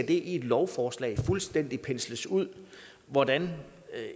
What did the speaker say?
det i et lovforslag fuldstændig skal pensles ud hvordan